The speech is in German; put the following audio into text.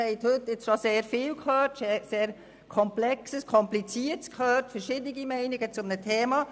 Sie haben heute schon sehr viel gehört, sehr Komplexes, Kompliziertes und unterschiedliche Meinungen zu einem Thema.